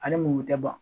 Ani mugu tɛ ban